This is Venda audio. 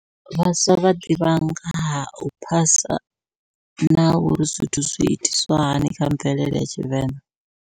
Vhaswa vha ḓivha nga hau phasa, na uri zwithu zwi itiswa hani kha mvelele ya tshivenḓa.